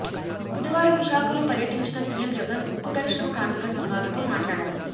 బుధవారం విశాఖలో పర్యటించిన సీఎం జగన్ ఉక్కు పరిశ్రమ కార్మిక సంఘాలతో మాట్లాడారు